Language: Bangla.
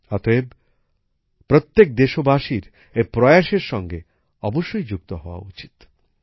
অতএব প্রত্যেক দেশবাসীর এই প্রয়াস এর সঙ্গে অবশ্যই যুক্ত হওয়া উচিত